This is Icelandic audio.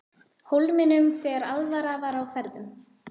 Hólminum þegar alvara var á ferðum.